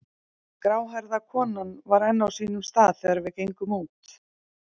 Gráhærða konan var enn á sínum stað þegar við gengum út.